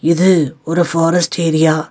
இது ஒரு forest area .